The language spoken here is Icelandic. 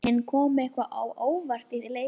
En kom eitthvað á óvart í leik þeirra?